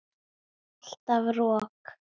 Alltaf rok.